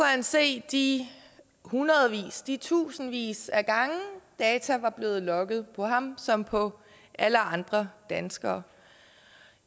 han se de hundredvis de tusindvis af gange data var blevet logget på ham som på alle andre danskere